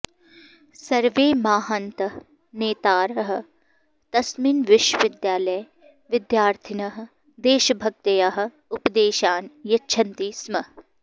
सर्वे माहान्तः नेतारः तस्मिन् विश्वविद्यालये विद्यार्थिनः देशभकत्याः उपदेशान् यच्छन्ति स्म